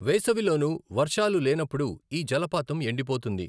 వేసవిలోను, వర్షాలు లేనప్పుడు ఈ జలపాతం ఎండిపోతుంది.